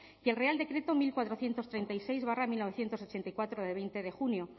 y el real decreto unocuatrocientos treinta y seis barra mil novecientos ochenta y cuatro de veinte de junio